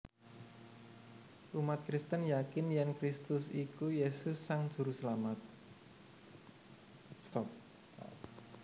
Umat Kristen yakin yèn Kristus iku Yesus Sang Juruselamat